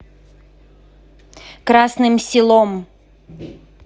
красным селом